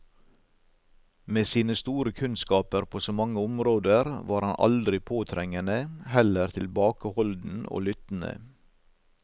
Med sine store kunnskaper på så mange områder var han aldri påtrengende, heller tilbakeholden og lyttende.